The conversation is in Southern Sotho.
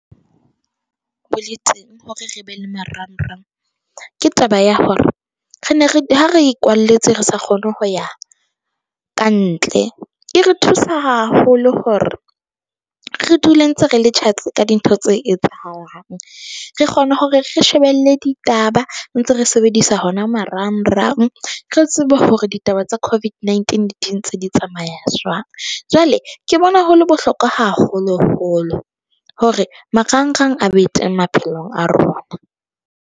Boletseng hore re be le marang-rang ke taba ya hore re ne re ha re kwalletse, re sa kgone ho ya ka ntle, e re thusa haholo hore re dule ntse re le tjhatsi ka dintho tse etsahalang. Re kgone hore re shebelle ditaba ntse re sebedisa hona marang-rang, re tsebe hore ditaba tsa COVID-19 di ntse di tsamaya jwang. Jwale ke bona ho le bohlokwa haholo-holo hore marangrang a be teng maphelong a rona.